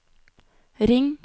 ring